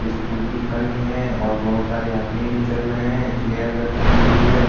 Scooty खड़ी है और बहोत सारे आदमी भी चल रहे हैं। चेयर रखी हुई है।